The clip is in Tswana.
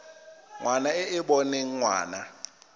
ngwana e e boneng ngwana